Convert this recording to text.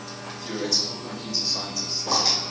theoretical computer scientists